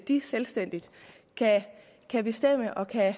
de selvstændigt kan bestemme og kan